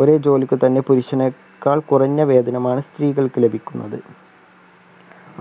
ഓരോ ജോലിക്കും തൻ്റെ പുരുഷനേക്കാൾ കുറഞ്ഞ വേതനമാണ് സ്ത്രീകൾക്ക് ലഭിക്കുന്നത്